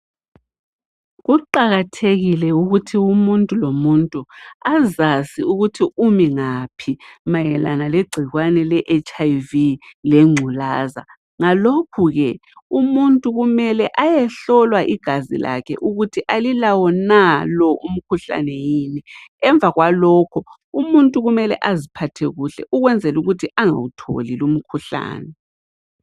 Kuqakathekile ukuthi umuntu lomuntu azazi ukuthi umingaphi mayelana legcikwane le HIV lengculaza, ngalokhuke umuntu kumele ayehlolwa igazi lakhe ukuthi alilawona lo umkhuhlane yini emvakwalokho umuntu kumele aziphathe kuhle ukwenzelukuthi engawutholi lumkhuhlane.